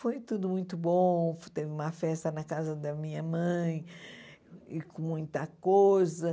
Foi tudo muito bom, teve uma festa na casa da minha mãe, e com muita coisa.